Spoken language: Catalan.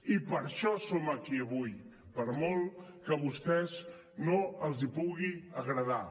i per això som aquí avui per molt que a vostès no els pugui agradar